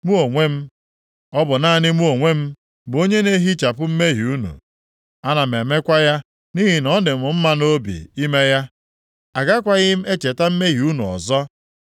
“Mụ onwe m, ọ bụ naanị mụ onwe m, bụ onye na-ehichapụ mmehie unu. Ana m emekwa ya nʼihi na ọ dị m mma nʼobi ime ya. Agakwaghị m echeta mmehie unu ọzọ.